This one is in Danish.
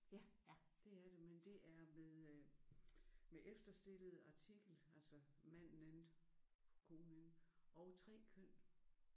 Ja det er det. Men det er med øh med efterstillet artikel altså manden konen og 3 køn